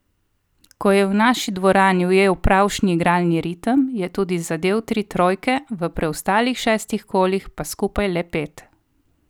Ko je v naši dvorani ujel pravšnji igralni ritem, je tudi zadel tri trojke, v preostalih šestih kolih pa skupaj le pet.